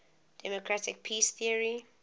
democratic peace theory